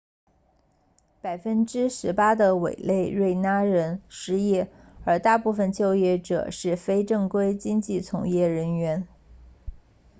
百分之十八的委内瑞拉人失业而大部分就业者是非正规经济从业人员